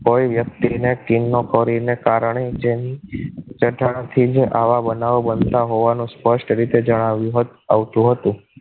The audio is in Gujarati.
કોઈ વ્યક્તિને ચીનનો કોરીને કારણે જેની જટાથી જ આવા બનાવો બનતા હોવાનું સ્પષ્ટ રીતે જણાવ્યું આવ્યું આવતું હતું